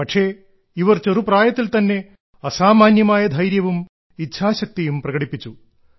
പക്ഷേ ഇവർ ചെറുപ്രായത്തിൽ തന്നെ അസാമാന്യമായ ധൈര്യവും ഇച്ഛാശക്തിയും പ്രകടിപ്പിച്ചു